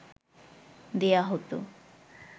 দেয়া হত